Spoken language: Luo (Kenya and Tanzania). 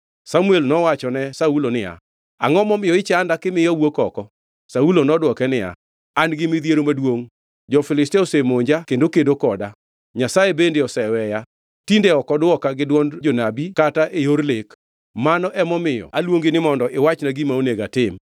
Samuel nowachone Saulo niya, “Angʼo momiyo ichanda kimiyo awuok oko?” Saulo nodwoke niya, “An gi midhiero maduongʼ. Jo-Filistia osemonja kendo kedo koda, Nyasaye bende oseweya. Tinde ok odwoka, gi dwond jonabi kata e yor lek. Mano emomiyo aluongi ni mondo iwachna gima onego atim?”